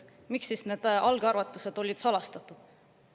Miks need algarvutused olid salastatud?